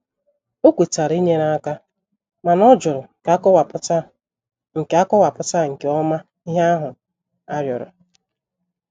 O kwetara inyere aka mana ọ jụrụ ka akọwapụta nke akọwapụta nke ọma ihe ahụ arịọrọ.